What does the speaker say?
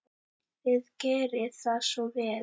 Þið gerið það svo vel.